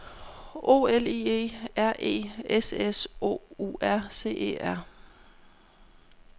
O L I E R E S S O U R C E R